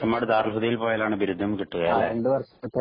ചെമ്മാട് ദാറുൽ ഹുദയിൽ പോയാലാണ് ബിരുദം കിട്ടുക അല്ലെ